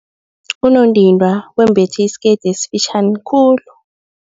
Unondindwa wembethe isikete esifitjhani khulu.